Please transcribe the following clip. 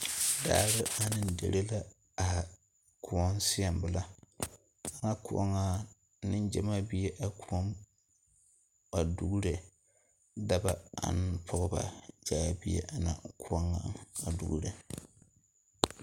Daare ane deri la are koɔ seɛŋ belaa ana koɔ ŋa nengyɛmaa be la a koɔ poɔ a duuro dɔɔ ane pɔgɔ taa la bie a koɔ ŋa a duuri